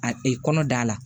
A ee kɔnɔ da la